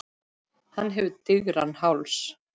Hann hefur digran háls.